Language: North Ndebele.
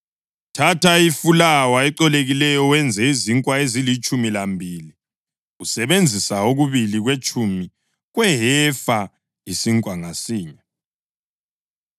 Thatha ifulawa ecolekileyo wenze izinkwa ezilitshumi lambili usebenzisa okubili kwetshumi kwehefa isinkwa ngasinye.